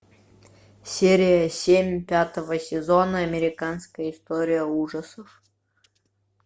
серия семь пятого сезона американская история ужасов